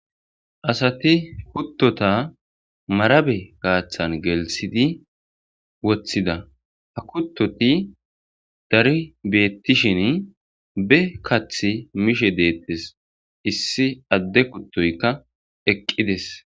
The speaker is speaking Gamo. asati kuttota marabe kaaththan gelsidi wothida ha kuttoti dari beettishin be kath mishe deettes issi adde kuttoykka eqqides